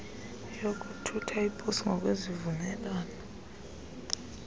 yokuthutha iposi ngokwezivumelwano